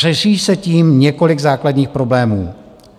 Řeší se tím několik základních problémů.